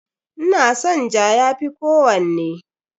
Ina son ja, ya fi kowanne.